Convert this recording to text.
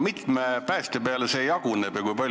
Mitme päästja peale see jaguneb?